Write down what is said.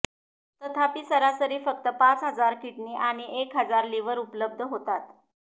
तथापि सरासरी फक्त पाच हजार किडनी आणि एक हजार लिव्हर उपलब्ध होतात